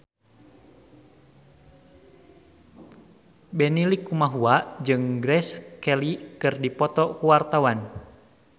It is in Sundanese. Benny Likumahua jeung Grace Kelly keur dipoto ku wartawan